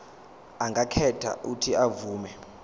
angakhetha uuthi avume